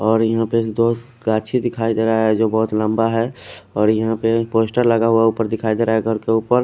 और यहा पे दो काछी दिखाई देरा है जो बहोत लम्बा है और यह अपे एक पोस्टर लगा हुआ उपर दिखाई देरा है घर के उपर।